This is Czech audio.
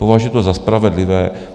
Považuji to za spravedlivé.